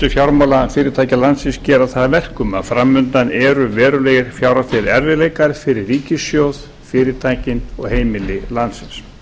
fjármálafyrirtækja landsins gera það að verkum að framundan eru verulegir fjárhagslegir erfiðleikar fyrir ríkissjóð fyrirtækin og heimili landsins